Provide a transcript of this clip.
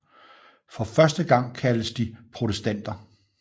For første gang kaldtes de protestanter